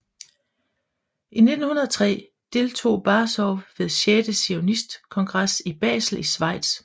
I 1903 deltog Baazov ved sjette zionistkongres i Basel i Schweiz